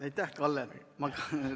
Aitäh, Kalle!